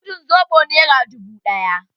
Mudun soɓo nera dubu ɗaya.